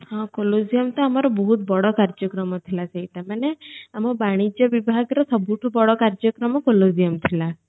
ତ ଆମର ବହୁତ ବଡ କର୍ଜ୍ୟକ୍ରମ ଥିଲା ସେତେବେଳେ ଆମ ବାଣିଜ୍ୟ ବିଭାଗରେ ସବୁଠୁ ବଡ କାର୍ଜ୍ୟକ୍ରମ ଥିଲା